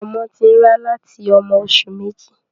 Ọmọ ti n rá láti ọmọ oṣù méjì.